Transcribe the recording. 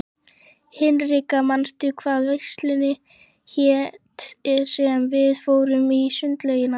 Hinrikka, manstu hvað verslunin hét sem við fórum í á sunnudaginn?